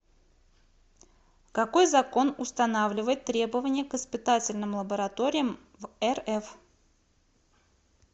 какой закон устанавливает требования к испытательным лабораториям в рф